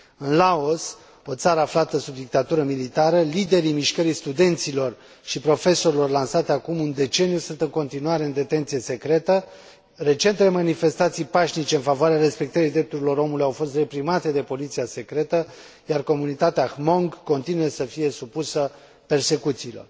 În Laos, o țară aflată sub dictatură militară, liderii mișcării studenților și profesorilor lansate acum un deceniu sunt în continuare în detenție secretă, recentele manifestații pașnice în favoarea respectării drepturilor omului au fost reprimate de poliția secretă, iar comunitatea Hmong continuă să fie supusă persecuțiilor.